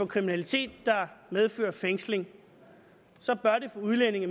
kriminalitet der medfører fængsling for udlændinge